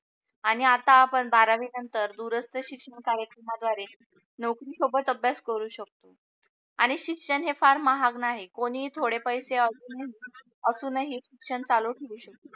आणि आता आपण बारावी नंतर दुरस्तशिक्षण कार्यक्रमाद्वारे नोकरी सोबत अभ्यास करू शकतो. आणि शिक्षण हे फार महाग नाही कोणी थोडे पैसे असून असून ही शिक्षण चालू ठेऊ शकतो.